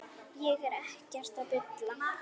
Ég er ekkert að bulla.